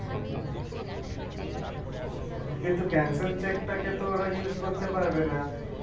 কিন্তু cancelled cheque টাকে তো ওরা use করতে পারবে না